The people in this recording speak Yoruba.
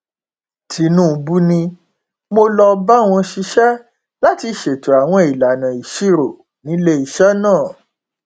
tinúbú ni mo lọọ bá wọn ṣiṣẹ láti ṣètò àwọn ìlànà ìṣirò níléeṣẹ náà